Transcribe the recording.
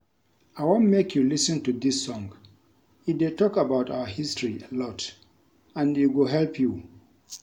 I wan make you lis ten to dis song e dey talk about our history a lot and e go help you